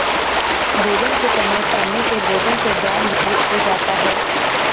भोजन के समय पढने से भोजन से ध्यान विचलित हो जाता है